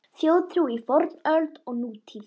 Þjóðtrú í fornöld og nútíð